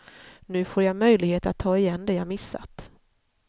Nu får jag möjlighet att ta igen det jag missat.